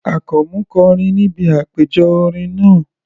Àkànmú kọrin níbi àpéjọ orin náà.